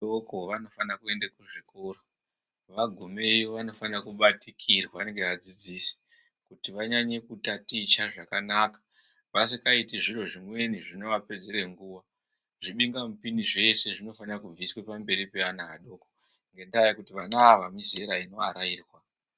Vadoko vanofana kuyende kuzvikoro vagomeyiyo vanofanira kubatikirwa ngeyadzidzisi kuti vanyanye kutaticha zvakanaka vasikaiti zviro zvimweni zvinovapedzere nguwa zvibingamipini zvese zvinofanira kubviswe pamberi pevana vadoko ngendava yekuti vana ava mizera inovarairwa.